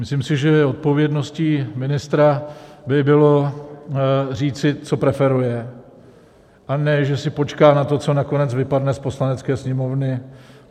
Myslím si, že odpovědností ministra by bylo říci, co preferuje, a ne že si počká na to, co nakonec vypadne z Poslanecké sněmovny.